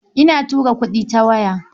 Ina tura kuɗi ta waya.